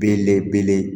Belebele